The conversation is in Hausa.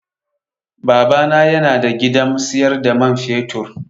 Baba na yana da gidan siyar da man fetur.